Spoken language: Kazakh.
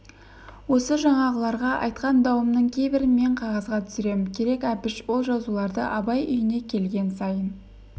осы жаңағыларға айтқан дауымның кейбірін мен қағазға түсірсем керек әбіш ол жазуларды абай үйіне келген сайын